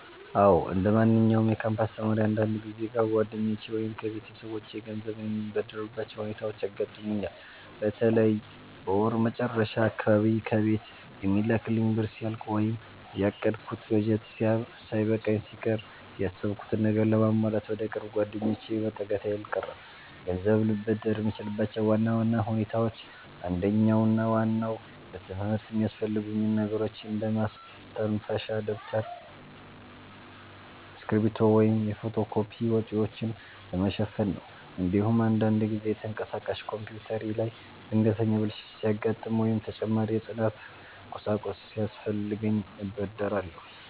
አዎ፣ እንደማንኛውም የካምፓስ ተማሪ አንዳንድ ጊዜ ከጓደኞቼ ወይም ከቤተሰቦቼ ገንዘብ የምበደርባቸው ሁኔታዎች ያጋጥሙኛል። በተለይ በወር መጨረሻ አካባቢ ከቤት የሚላክልኝ ብር ሲያልቅ ወይም ያቀድኩት በጀት ሳይበቃኝ ሲቀር፣ ያሰብኩትን ነገር ለማሟላት ወደ ቅርብ ጓደኞቼ መጠጋቴ አልቀረም። ገንዘብ ልበደር የምችልባቸው ዋና ዋና ሁኔታዎች አንደኛውና ዋናው ለትምህርት የሚያስፈልጉኝን ነገሮች እንደ ማስተንፈሻ ደብተር፣ እስክሪብቶ ወይም የፎቶ ኮፒ ወጪዎችን ለመሸፈን ነው። እንዲሁም አንዳንድ ጊዜ ተንቀሳቃሽ ኮምፒውተሬ ላይ ድንገተኛ ብልሽት ሲያጋጥም ወይም ተጨማሪ የጥናት ቁሳቁስ ሲያስፈልገኝ እበደራለሁ።